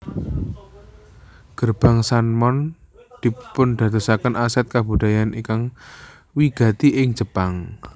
Gerbang San mon dipundadosaken aset kabudayan ingkang wigati ing Jepang